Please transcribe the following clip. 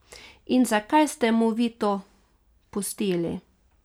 In zakaj ste mu vi to pustili.